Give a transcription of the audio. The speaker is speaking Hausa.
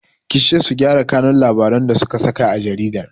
Kice su gyara kanun labarin da suka saka a jaridar!